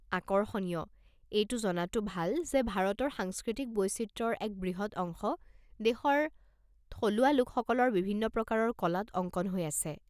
আকৰ্ষণীয়! এইটো জনাটো ভাল যে ভাৰতৰ সাংস্কৃতিক বৈচিত্ৰ্যৰ এক বৃহৎ অংশ দেশৰ থলুৱা লোকসকলৰ বিভিন্ন প্ৰকাৰৰ কলাত অংকন হৈ আছে।